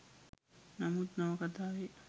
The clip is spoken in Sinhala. නමුත් නවකතාවේ